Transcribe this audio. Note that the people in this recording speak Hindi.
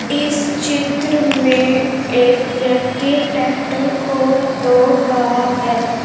इस चित्र में एक व्यक्ति ट्रैक्टर को धो रहा है।